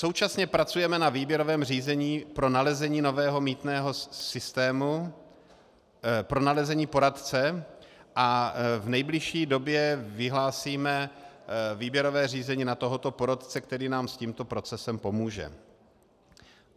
Současně pracujeme na výběrovém řízení pro nalezení nového mýtného systému, pro nalezení poradce a v nejbližší době vyhlásíme výběrové řízení na tohoto poradce, který nám s tímto procesem pomůže.